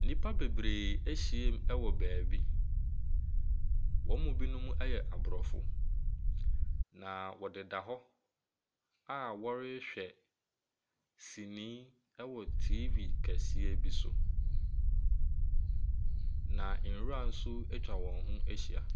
Nnipa bebree ahyiam wɔ baabi. Wɔn mu binom yɛ aborɔfo, na wɔdeda hɔ a wɔrehwɛ sini wɔ TV kɛseɛ bi so, na nwura nso atwa wɔn ahyia.